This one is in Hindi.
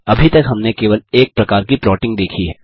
अभी तक हमने केवल एक प्रकार की प्लॉटिंग देखी है